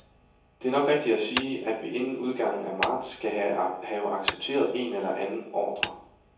Det er nok rigtigt at sige, at vi inden udgangen af marts skal have accepteret en eller anden ordre.